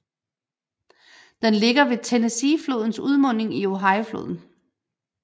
Den ligger ved Tennesseeflodens udmunding i Ohiofloden